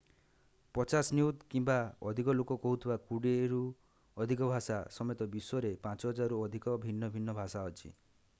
50 ନିୟୁତ କିମ୍ବା ଅଧିକ ଲୋକ କହୁଥିବା କୋଡ଼ିଏଟିରୁ ଅଧିକ ଭାଷା ସମେତ ବିଶ୍ୱରେ 5000ରୁ ଅଧିକ ଭିନ୍ନ ଭିନ୍ନ ଭାଷା ଅଛି